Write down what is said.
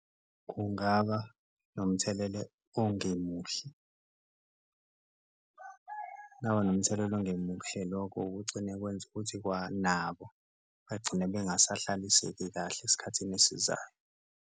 Kungaba nomthelele ongemuhle. Kungaba nomthelela ongemuhle lokho kugcine kwenze ukuthi kwanabo bagcine bengasahlaliseki kahle esikhathini esizayo.